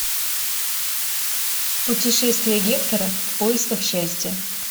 путешествие гектора в поисках счастья